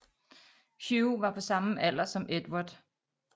Hugh var på samme alder som Edvard